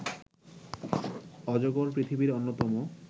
অজগর পৃথিবীর অন্যতম